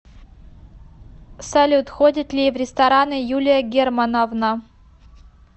салют ходит ли в рестораны юлия германовна